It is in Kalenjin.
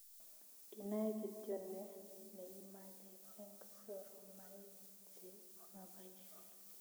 Inae kityo nee neimache eng soromaik che mabaishe